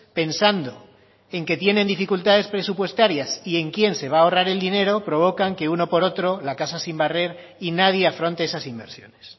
pensando en que tienen dificultades presupuestarias y en quién se va a ahorrar el dinero provocan que uno por otro la casa sin barrer y nadie afronte esas inversiones